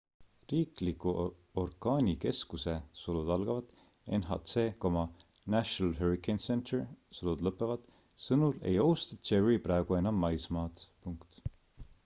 riikliku orkaanikeskuse nhc national hurricane center sõnul ei ohusta jerry praegu enam maismaad